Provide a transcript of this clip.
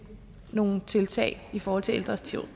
nogle tiltag i forhold til ældres